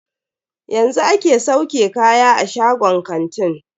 Yanzu ake sauke kaya a shagon kantin.